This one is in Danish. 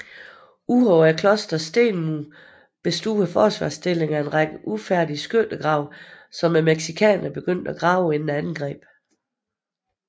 Udover klosterets stenmure bestod forsvarsstillingen af en række ufærdige skyttegraven som mexicanerne begyndte at grave inden angrebet